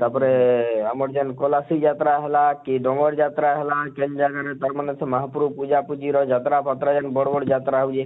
ତାପରେ ଏଁ ଏଁ ଆମର ଯେନ କଳାସି ଯାତ୍ରା ହେଲା କି ଡ଼ଙ୍ଗର ଯାତ୍ରା ହେଲା କେନ ଜାଗାରେ ତାର ମାନେ ମାହାପୁରୁ ପୂଜା ପୂଜି ର ସେ ଯାତ୍ରା ଫାତରା ଯେନ ବଡ଼ ବଡ଼ ଯାତ୍ରା ହଉଛେ